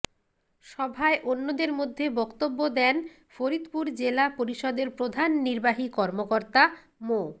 সভায় অন্যদের মধ্যে বক্তব্য দেন ফরিদপুর জেলা পরিষদের প্রধান নির্বাহী কর্মকর্তা মো